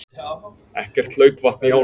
Ekkert hlaupvatn í ánum